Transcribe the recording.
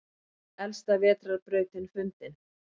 Elsta vetrarbrautin fundin